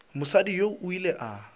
mosadi yoo o ile a